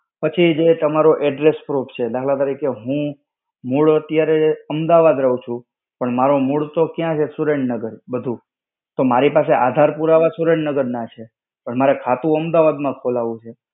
પછી જે તમારું address proof છે. દાખલ તરીકે હું મૂળ અત્યારે અમદાવાદ રહું છું, પણ મારો મૂળ તો ક્યાં છે સુરેન્દ્રનગર બધું, તો મારી પાસે આધાર પુરાવા સુરેન્દ્રનગર ના છે. પણ મારે ખાતું અમદાવાદમાં ખોલાવવું છે.